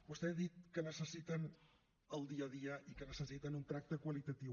vostè ha dit que necessiten el dia a dia i que necessiten un tracte qualitatiu